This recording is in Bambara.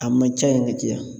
A man ca yen ka caya